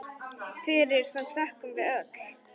Fyrir það þökkum við öll.